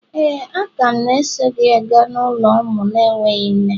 Éè, a ka m na-eso gị gaa n'ụlọ ụmụ na-enweghị nne.